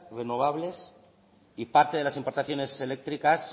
renovables y parte de las importaciones eléctricas